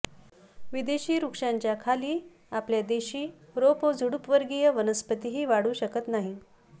विदेशी वृक्षांच्या खाली आपल्या देशी रोप व झुडूप वर्गीय वनस्पतीही वाढू शकत नाहीत